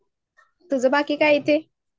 तुझं बाकी काय ते